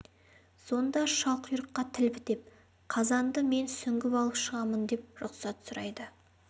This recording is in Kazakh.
сонда шалқұйрыққа тіл бітіп қазанды мен сүңгіп алып шығамын деп рұқсат сұрайды